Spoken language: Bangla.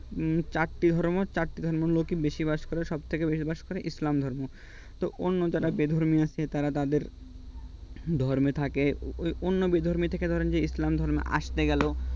হম চারটি ধর্ম চারটি ধর্মের ধর্মের মধ্যে বেশি বাস করে সবথেকে বেশি বাস করে ইসলাম ধর্ম তে অন্য যারা বেধর্মী আছেন তারা তাদের ধর্মে থাকে অন্য বেধর্মী থেকে ধরা যে ইসলাম ধর্মে আসতে গেল